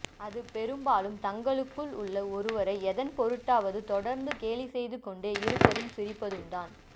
அது பெரும்பாலும் தங்களுக்குள் உள்ள ஒருவரை எதன்பொருட்டாவது தொடர்ந்து கேலி செய்து கொண்டே இருப்பதும் சிரிப்பதும்தான்